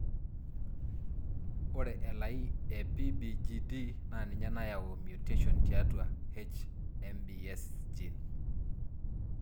Ore elai e PBGD naa ninye nayau e mutation tiatua HMBS gene.